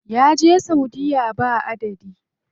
Ya je saudiya ba adadi.